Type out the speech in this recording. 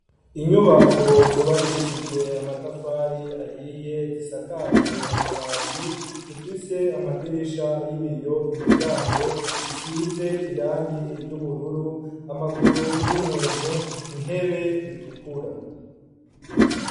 Inyubako zubakishijwe amatafari ahiye zisakajwe amabati zifise amadirisha y'ibiyo imiryango bisize irangi iryo ubururu amaguru y'umuntu intebe itukura.